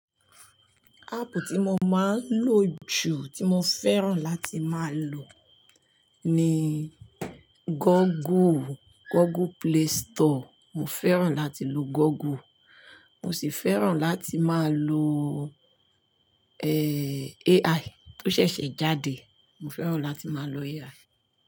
Áàpù tí mo máa ń lò jù, tí mo fẹ́ràn láti máa lò ni Google, Google Play Store. Mo fẹ́ràn láti lo Google. Mo sì fẹ́ràn láti máa lo, AI tó ṣẹ̀ṣẹ̀ jáde. Mo fẹ́ràn láti máa lo AI.